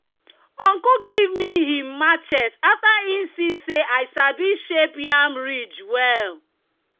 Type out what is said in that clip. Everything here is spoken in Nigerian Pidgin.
"uncle give me him machete after e see say i sabi shape yam ridge well."